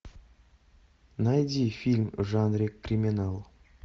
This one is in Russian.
найди фильм в жанре криминал